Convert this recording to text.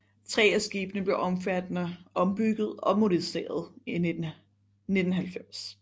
Tre af skibene blev omfattende ombygget og moderniseret i 1990